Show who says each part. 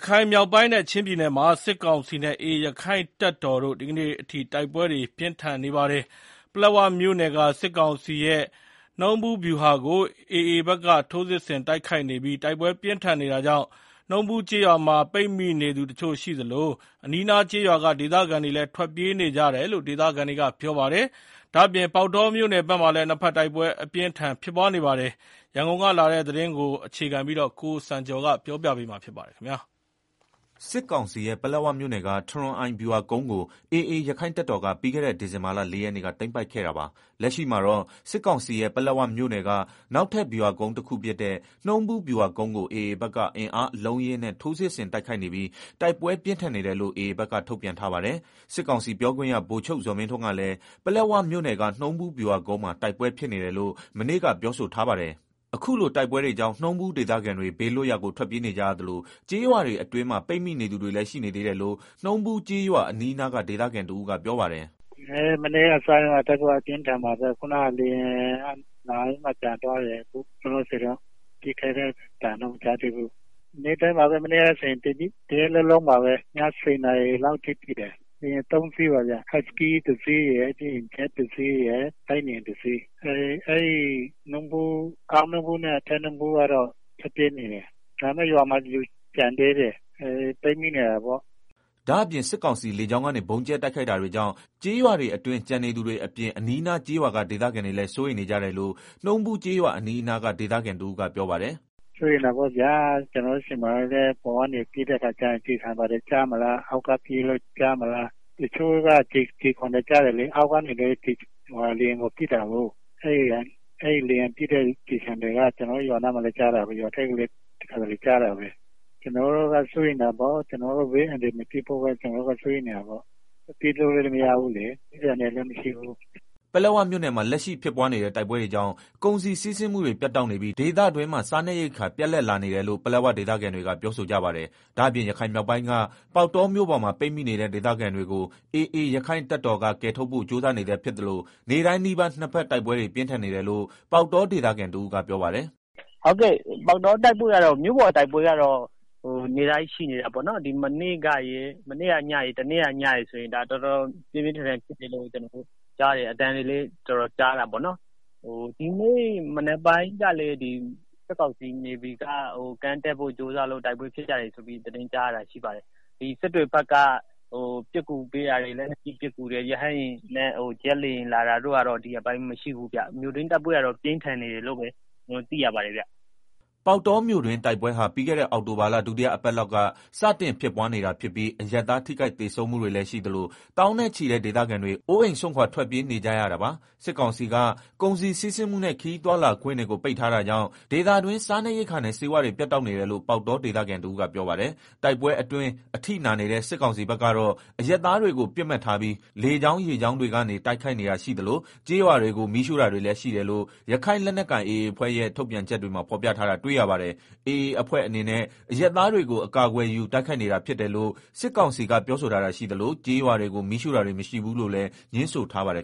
Speaker 1: ခိုင်မြောက်ပိုင်းနဲ့ ချင်းပြည်နယ်မှာ စစ်ကောင်စီနဲ့ AA ရက္ခိုင့်တပ်တော်တို့ ဒီကနေ့အထိ တိုက်ပွဲတွေ ပြင်းထန်နေတာပါ။ ပလက်ဝမြို့နယ်က စစ်ကောင်စီရဲ့ နှုံးဗူးဗျူဟာကို AAဘက်က ထိုးစစ်ဆင်တိုက်ခိုက်နေပြီး တိုက်ပွဲပြင်းထန်နေတာကြောင့် နှုံးဗူးကျေးရွာမှာ ပိတ်မိနေသူ တချို့ရှိသလို အနီးအနားကျေးရွာက ဒေသခံလည်း ထွက်ပြေးနေကြရတယ်လို့ ဒေသခံတွေက ပြောပါတယ်။ ဒါ့အပြင် ပေါက်တောမြို့နယ်မှာလည်း နှစ်ဘက်တိုက်ပွဲ အပြင်းအထန်ဖြစ် နေတာပါ။ ရန်ကုန်ကလာတဲ့ သတင်းကို ကိုစံကျော် ကတင်ပြပေးပါမယ်။
Speaker 2: စစ်ကောင်စီရဲ့ ပလက်ဝမြို့နယ်က ထရွန်အိုင်ဗျူဟာကုန်းကို AA ရက္ခိုင့်တပ်တော်က ပြီးခဲ့တဲ့ ဒီဇင်ဘာလ ၄ရက်နေ့က သိမ်းပိုက်ခဲ့တာပါ။ လက်ရှိမှာတော့ စစ်ကောင်စီရဲ့ ပလက်ဝမြို့ နယ်က နောက်ထပ်ဗျူဟာ ကုန်းတခုဖြစ်တဲ့ နှုံးဗူးဗျူဟာကုန်းကို AA ဘက်က အင်အားအလုံး အရင်းနဲ့ ထိုးစစ်ဆင်တိုက်ခိုက်နေပြီး တိုက်ပွဲပြင်းထန်နေတယ်လို့ AA ဘက်ကထုတ်ပြန် ထားပါတယ်။ စစ်ကောင်စီပြောခွင့်ရ ဗိုလ်ချုပ်ဇော်မင်းထွန်းကလည်း ပလက်ဝမြို့နယ်က နှုံးဗူးဗျူဟာကုန်းမှာ တိုက်ပွဲဖြစ်နေတယ်လို့ မနေ့ကပြောဆိုထားပါတယ်။ အခုလို တိုက်ပွဲတွေကြောင့် နှုံးဗူးဒေသခံတွေ ဘေးလွတ်ရာကို ထွက်ပြေးနေကြရသလို ကျေးရွာတွေ အတွင်းမှာ ပိတ်နေသူ တွေလည်းရှိနေသေးတယ်လို့ နှုံးဗူးကျေးရွာ အနီးအနားက ဒေသခံတဦးကပြောပါတယ်
Speaker 3: ။ “မနေ့ကစပြီးတော့ တိုက်ပွဲက အပြင်းအထန်ပါပဲ၊ ခုနားက လေယာဉ်က လာပြီးတော့ ပြန်သွားတယ်၊ လောလောဆယ်တော့ ပစ်ခတ်သံတော့ မကြားသေးဘူး၊ နေ့တိုင်းပါပဲ မနေ့က ဆိုရင် တရက်လုံးလုံးပါပဲ၊ ည၁ဝနာရီအထိ ဖြစ်တယ်၊ လေယာဉ်သုံးစင်း ဟတ်စကီးတစီးရယ် ဂျက်တစီးရယ်၊ တိုက်လေယာဉ်တစီးရယ်၊ အောက်နှုံးဗူးနဲ့ အထက်နှုံးဗူး ကျေးရွာတွေကတော့ အကုန်လုံးပြေးနေရတယ်၊ ဒါပေမယ့် ရွာမှာ လူကျန်သေးတယ် ပိတ်မိနေတာပေါ့။
Speaker 2: ” ဒါ့အပြင် စစ်ကောင်စီလေကြောင်းကနေက ဗုံးကြဲတိုက်ခိုက်တာတွေကြောင့် ကျေးရွာအတွင်း ကျန်နေသူတွေအပြင် အနီးအနားကျေးရွာက ဒေသခံတွေလည်း စိုးရိမ်နေကြတယ်လို့ နှုံးဗူးကျေးရွာအနီး အနားက ဒေသခံတဦးကပြောပါတယ်။
Speaker 3: “ စိုးရိမ်တာပေါ့ဗျာ၊ ကျနော်တို့ဆီမှာဆိုလို့ရှိရင် အပေါ်ကနေ ပစ်တဲ့အခါ ကျည်ဆံတွေဘာတွေ ကျမလား၊ အောက်က ပစ်လို့ကျမလား၊ တချို့က ကျည်ခွံတွေကျတယ်လေ၊ အောက်ကနေလည်း လေယာဉ်ကို ပစ်တာကို၊ အဲကျည်ဆံတွေက ရွာနားကိုလည်းကျတယ် ရွာထဲကိုလည်းကျတယ်။ကျနော်တို့ စိုးရိမ်တာပေါ့ ဘေးအန္တရာယ်မဖြစ်ဖို့ ပြေးလို့လည်းမရဘူးလေ ပြေးဖို့နေရာလည်းမရှိဘူးလေ။”
Speaker 2: ပလက်ဝမြို့နယ်မှာ လက်ရှိဖြစ်ပွားနေတဲ့ တိုက်ပွဲတွေကြောင့် ကုန်စည်စီးဆင်းမှုတွေ ပြတ်တောက်နေပြီး ဒေသတွင်းမှာ စားနပ်ရိက္ခာ ပြတ်လပ်လာနေတယ်လို့ ပလက်ဝဒေသခံတွေက ပြောဆိုကြပါတယ်။ ဒါ့အပြင် ရခိုင်မြောက်ပိုင်းက ပေါက်တောမြို့ပေါ်မှာပိတ်မိနေတဲ့ ဒေသခံတွေကို AA ရက္ခိုင့် တပ်တော်က ကယ်ထုတ်ဖို့ကြိုးစားနေဆဲဖြစ်သလို နေ့တိုင်းနီးပါး နှစ်ဘက်တိုက်ပွဲတွေ ပြင်းထန်နေတယ်လို့ ပေါက်တောဒေသခံ တဦးကပြောပါတယ်
Speaker 4: ။ “ ပေါက်တောမြို့ပေါ်တိုက်ပွဲကတော့ နေ့တိုင်းရှိနေတယ်၊ မနေ့ကညရယ် တနေ့က ညရယ် ဆိုရင် တော်တော်ပြင်းပြင်းဖြစ်တဲ့ အသံကြားတယ်၊ ဒီနေ့မနက်ပိုင်းကလည်း စစ်ကောင်စီ နေဗီက ကမ်းကပ်ဖို့ ကြိုးစားလို့ တိုက်ပွဲဖြစ်တာလို့ ကြားတယ်၊ စစ်တွေဖက်က လက်နက်ကြီးပစ် ကူပေးတာတွေ လေယာဉ်လာတာတို့ကတော့ ဒီရက်ပိုင်းမရှိဘူး၊ မြို့တွင်းတိုက်ပွဲကတော့ ပြင်းထန်နေတယ်လို့ ကျနော်တို့သိရပါတယ်ဗျာ။”
Speaker 2: ပေါက်တောမြို့တွင်းတိုက်ပွဲဟာ ပြီးခဲ့တဲ့ အောက်တိုဘာလ ဒုတိယအပတ်လောက် ကစတင်ဖြစ်ပွား နေတာဖြစ်ပြီး အရပ်သားထိခိုက် သေဆုံးမှုတွေလည်းရှိသလို သောင်းနဲ့ချီတဲ့ ဒေသခံတွေ အိုးအိမ်စွန့်ခွာ ထွက်ပြေးနေကြရတာပါ။ စစ်ကောင်စီက ကုန်စည်စီးဆင်းမှုနဲ့ ခရီးသွားလာခွင့်တွေကို ပိတ်ထားတာကြောင့် ဒေသတွင်း စားနပ်ရိက္ခာနဲ့ ဆေးဝါးတွေ ပြတ်တောက်နေတယ်လို့ ပေါက်တောဒေသခံတဦးကပြောပါတယ်။ တိုက်ပွဲအတွင်း အထိနာနေတဲ့ စစ်ကောင်စီဘက်ကတော့ အရပ်သားတွေကို ပစ်မှတ်ထားပြီး လေကြောင်း ရေကြောင်းတွေကနေ တိုက်ခိုက်နေတာရှိသလို ကျေးရွာတွေကို မီးရှို့တာတွေလည်းရှိတယ်လို့ ရခိုင်လက်နက်ကိုင် AA အဖွဲ့ရဲ့ ထုတ်ပြန်ချက်တွေမှာ ဖော်ပြထားတာတွေ့ရပါတယ်။ AA အဖွဲ့အနေနဲ့ အရပ်သားတွေကို အကာအကွယ်ယူ တိုက်ခိုက်နေတာဖြစ်တယ်လို့ စစ်ကောင်စီကပြောဆိုထားတာရှိသလို ကျေးရွာတွေကို မီးရှို့တာတွေ မရှိဘူးလို့လည်းငြင်းဆိုထားပါတယ်